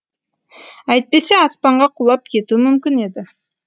әйтпесе аспанға құлап кетуі мүмкін еді